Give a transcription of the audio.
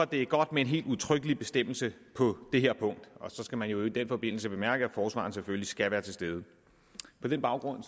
det godt med en helt udtrykkelig bestemmelse på det her punkt så skal man i øvrigt i den forbindelse bemærke at forsvareren selvfølgelig skal være til stede på den baggrund